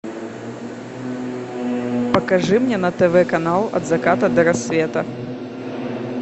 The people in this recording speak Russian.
покажи мне на тв канал от заката до рассвета